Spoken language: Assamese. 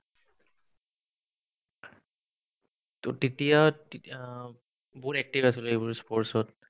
to তেতিয়া বহুত active আছিলো এইবোৰ sports ত